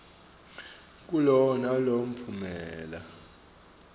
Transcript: kulowo nalowo mphumela